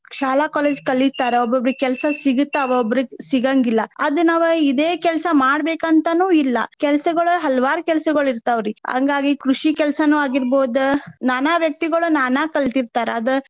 ಶಾಲಾ college ಕಲಿತಾರ. ಒಬ್ಬೊಬ್ರಿಗೆ ಕೆಲ್ಸಾ ಸಿಗುತಾವ ಒಬ್ಬೊಬ್ರಿಗ ಸಿಗಾಂಗಿಲ್ಲಾ. ಆಗ ನಾವ ಇದೆ ಕೆಲ್ಸಾ ಮಾಡ್ಬೇಕ ಅಂತಾನೂ ಇಲ್ಲಾ. ಕೆಲ್ಸಗೊಳ್ ಹಲವಾರ್ ಕೆಲ್ಸಗೊಳ್ ಇರ್ತಾವ್ರಿ ಹಂಗಾಗಿ ಕೃಷಿ ಕೆಲ್ಸಾನು ಆಗಿರ್ಬಹುದ ನಾನಾ ವ್ಯಕ್ತಿಗಳು ನಾನಾ ಕಲ್ತಿತಾರ.